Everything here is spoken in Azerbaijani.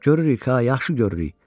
Görürük ha, yaxşı görürük.